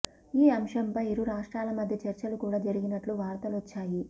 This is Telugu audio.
ఈ అంశంపై ఇరు రాష్ట్రాల మధ్య చర్చలు కూడా జరిగినట్లు వార్తలొచ్చాయి